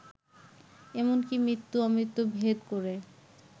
এমনকি মৃত্যু-আমৃত্যু ভেদ করে